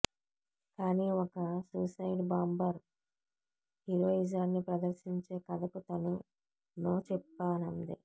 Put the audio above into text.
కానీ ఒక suicide bomber హీరోయిజాన్ని ప్రదర్శించే కథకు తను నో చెప్పానంది